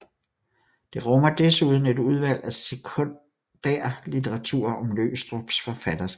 Det rummer desuden et udvalg af sekundærlitteratur om Løgstrups forfatterskab